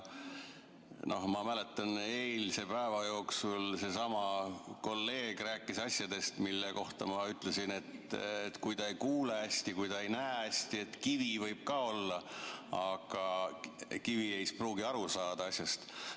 Ma mäletan, eilse päeva jooksul seesama kolleeg rääkis asjadest, mille kohta ma ütlesin, et kui ta hästi ei kuule, ta hästi ei näe, siis kivi võib ka olla, aga kivi ei pruugi aru saada asjast.